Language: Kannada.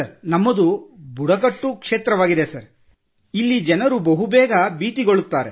ನಮ್ಮದು ಬುಡಕಟ್ಟು ಕ್ಷೇತ್ರವಾಗಿದೆ ಸರ್ ಅಲ್ಲಿ ಜನರು ಬಹು ಬೇಗ ಭೀತಿಗೊಳ್ಳುತ್ತಾರೆ